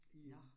Nåh